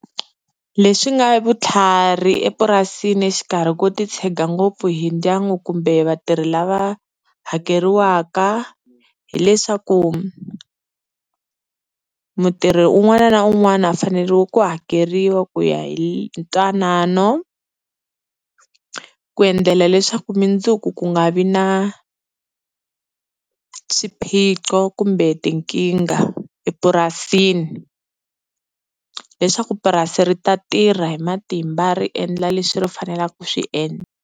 Leswi nga vutlhari epurasini exikarhi ko titshega ngopfu hi ndyangu kumbe vatirhi lava hakeriwaka hi leswaku, mutirhi un'wana na un'wana u fanele ku hakeriwa ku ya hi ntwanano, ku endlela leswaku mundzuku ku nga vi na swiphiqo kumbe tinkingha epurasini leswaku purasi ri ta tirha hi matimba ri endla leswi ri fanelaku ku swi endla.